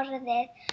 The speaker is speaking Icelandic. orðið.